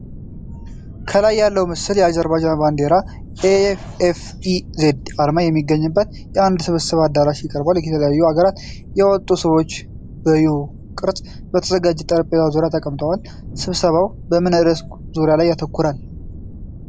ከላይ ያለዉ ምስል የአዘርባጃን ባንዲራ እና የ"AFEZ" አርማ የሚገኝበትን አንድ የስብሰባ አዳራሽ ያቀርባል። ከተለያዩ አገራት የመጡ ሰዎች በዩ-ቅርጽ በተዘጋጀ ጠረጴዛ ዙሪያ ተቀምጠዋል። ስብሰባው በምን ርዕስ ዙሪያ ላይ ያተኩራል?